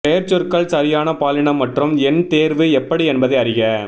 பெயர்ச்சொற்கள் சரியான பாலினம் மற்றும் எண் தேர்வு எப்படி என்பதை அறிக